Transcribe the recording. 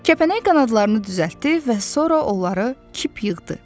Kəpənək qanadlarını düzəltdi və sonra onları kip yığdı.